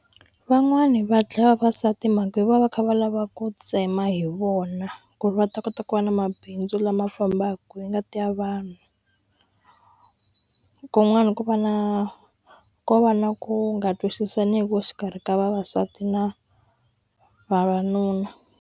Van'wani va dlaya vavasati mhaka hi vona va kha va lava ku tsema hi vona ku ri va ta kota ku va na mabindzu lama fambaku hi ngati ya vanhu kun'wani ku va na ko va na ku nga twisisaniwi exikarhi ka vavasati na vavanuna.